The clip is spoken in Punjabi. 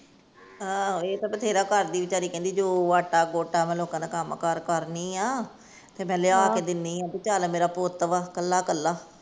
ਆਹੋ ਇਹ ਤਾਂ ਬਥੇਰਾ ਕਰਦੀ ਵਿਚਾਰੀ ਕਹਿੰਦੀ ਜੋ ਆਟਾ ਗੋਟਾ ਮੈ ਲੋੱਕਾਂ ਦਾ ਕੱਮ ਕਾਰ ਕਰਨੀ ਆ, ਫੇਰ ਮੈ ਲਿਆ ਕੇ ਦਿੰਨੀ ਆ ਭੀ ਚੱਲ ਮੇਰਾ ਪੁਤ ਵਾ ਕੱਲਾ ਕੱਲਾ।